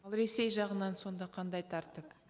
ал ресей жағынан сонда қандай тәртіп